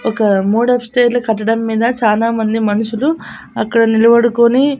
ఒక modern style లో కట్టడం మీద చానామంది మనుషులు అక్కడ నిలబడుకొని.